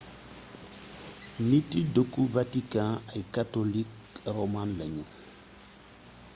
niti dëkku vatikan ay katolik roman lañu